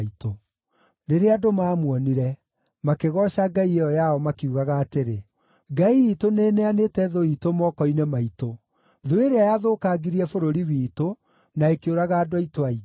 Rĩrĩa andũ maamuonire, makĩgooca ngai ĩyo yao makiugaga atĩrĩ, “Ngai iitũ nĩĩneanĩte thũ iitũ moko-inĩ maitũ, thũ ĩrĩa yathũkangirie bũrũri witũ na ĩkĩũraga andũ aitũ aingĩ.”